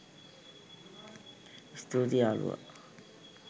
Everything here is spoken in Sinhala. ස්තුතියි යාළුවා